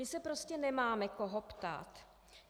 My se prostě nemáme koho ptát.